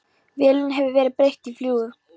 Vélinni hefur verið breytt í fljúg